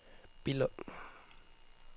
Billund